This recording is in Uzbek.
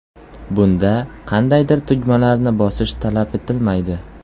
Bunda qandaydir tugmalarni bosish talab etilmaydi.